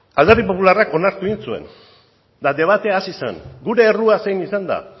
alderdi popularrak onartu egin zuen eta debatea hasi zen gure errua zein izan da